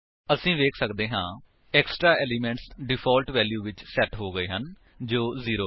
ਅਸੀ ਵੇਖ ਸੱਕਦੇ ਹਾਂ ਏਕ੍ਸਟ੍ਰਾ ਏਲਿਮੇਂਟਸ ਡਿਫਾਲਟ ਵੈਲਿਊ ਵਿਚ ਸੇਟ ਹੋ ਗਏ ਹਨ ਜੋ 0 ਹੈ